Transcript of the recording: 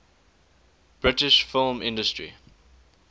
british film industry